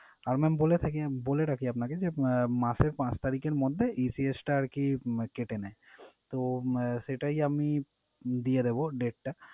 আর mam বলে থাকি বলে রাখি আপনাকে যে, মাসের পাঁচ তারিখের মধ্যে ECS টা আরকি আহ কেটে নেয়। তো আহ সেটাই আমি দিয়ে দেবো date টা।